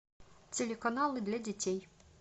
телеканалы для детей